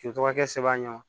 K'i tɔgɔ kɛ sɛbɛn ye